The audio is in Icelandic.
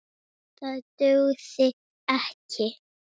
Það dugði ekki.